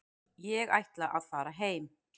Ég ætla að fara heim.